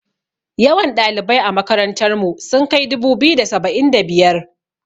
Yawan ɗalibai a makarantar mu sun kai dubu-biyu da saba'in da biyar.